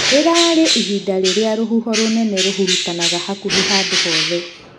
Rĩrarĩ ihinda rĩrĩa rũhuho rũnene rũrahurutanaga hakuhĩ handũ hothe.